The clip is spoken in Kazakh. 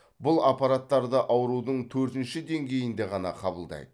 бұл аппараттарды аурудың төртінші деңгейінде ғана қабылдайды